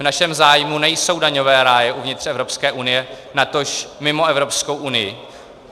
V našem zájmu nejsou daňové ráje uvnitř Evropské unie, natož mimo Evropskou unii.